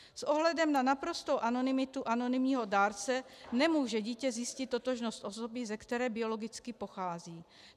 S ohledem na naprostou anonymitu anonymního dárce nemůže dítě zjistit totožnost osoby, ze které biologicky pochází.